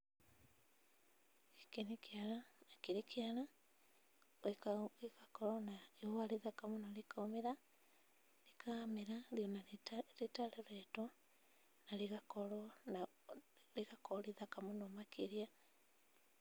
Gĩkĩ nĩ kĩara na kĩrĩ kĩara gĩgakorwo na ihũa rĩthaka mũno rĩkaumĩra rĩkamera o na rĩtaroretwo na rĩgakorwo rĩ rĩthaka mũno makĩria.